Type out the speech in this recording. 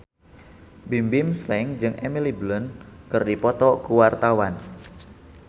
Bimbim Slank jeung Emily Blunt keur dipoto ku wartawan